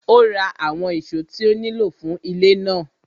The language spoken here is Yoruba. Ó ra àwọn ìṣó tí ó nílò fún ilé náà.